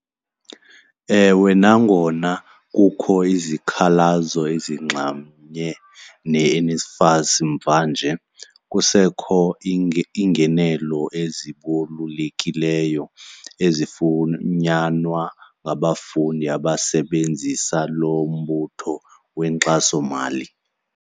Ewe, nangona kukho izikhalazo ezinxamnye neNSFAS mvanje, kusekho iingenelo ezibalekileyo ezifunyanwa ngabafundi abasebenzisa lo mbutho wenkxasomali.